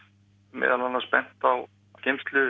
meðal annars bent á geymslur